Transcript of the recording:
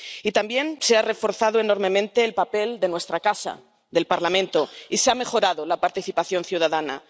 Y también se ha reforzado enormemente el papel de nuestra casa, del Parlamento, y se ha mejorado la participación ciudadana.